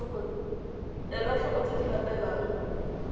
ela tlhoko tse di latelang